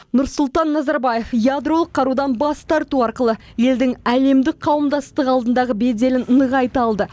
нұрсұлтан назарбаев ядролық қарудан бас тарту арқылы елдің әлемдік қауымдастық алдындағы беделін нығайта алды